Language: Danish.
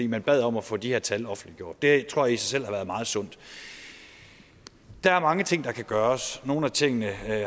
man bad om at få de her tal offentliggjort det tror i selv har været meget sundt der er mange ting der kan gøres nogle af tingene